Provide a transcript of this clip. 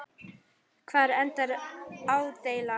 Hvar endar ádeila?